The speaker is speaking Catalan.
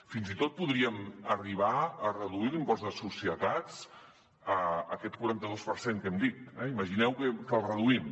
fins i tot podríem arribar a reduir l’impost de societats aquest quaranta dos per cent que hem dit eh imagineu que el reduïm